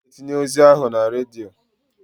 I ga-etinye ozi ahụ na redio.